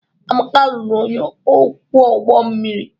Amaka lụrụ onye ọkwọ ụgbọ mmiri.